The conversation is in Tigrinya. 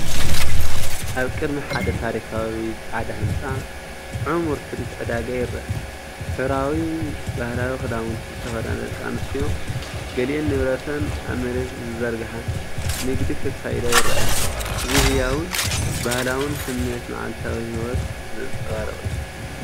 ኣብ ቅድሚ ሓደ ታሪኻዊ ጻዕዳ ህንጻ፡ ዕሙር ትርኢት ዕዳጋ ይርአ። ሕብራዊ ባህላዊ ክዳውንቲ ዝተኸድና ደቂ ኣንስትዮ፡ ገሊአን ንብረተን ኣብ መሬት ዝዘርግሓ፡ ንግዲ ከካይዳ ይረኣያ። እዚ ህያውን ባህላውን ስምዒት መዓልታዊ ህይወት ዘንጸባርቕ እዩ።